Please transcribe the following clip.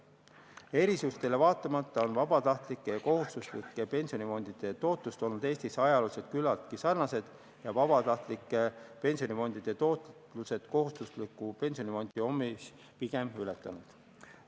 Erisustele vaatamata on vabatahtlike ja kohustuslike pensionifondide tootlused olnud Eestis küllaltki sarnased, vabatahtlike pensionifondide tootlused on kohustusliku pensionifondi omi pigem ületanud.